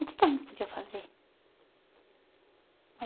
O que que a gente podia fazer?